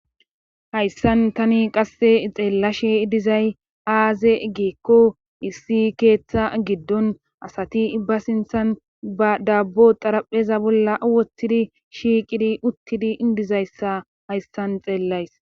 Hayssan tani qasse xeellashe dizay aaze geekko issi keeththa giddon asati ibba sinthan ba daabbo xarapheza bolla wottidi shiiqidi uttidi indizayssa hayssan xeellays.